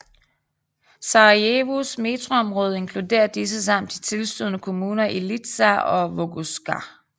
Sarajevos metroområde inkluderer disse samt de tilstødende kommuner i Ilidža og Vogošća